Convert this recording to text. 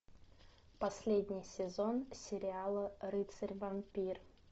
последний сезон сериала рыцарь вампир